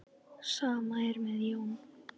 Sama er með Jón.